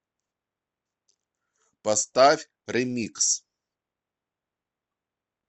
поставь ремикс